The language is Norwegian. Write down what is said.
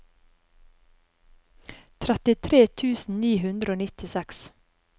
trettitre tusen ni hundre og nittiseks